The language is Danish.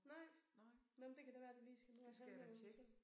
Nej nå men det kan da være du lige skal ned og have nogen så